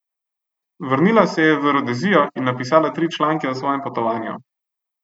Vrnila se je v Rodezijo in napisala tri članke o svojem potovanju.